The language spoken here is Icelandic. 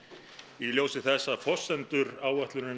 í ljósi þess að forsendur áætlunarinnar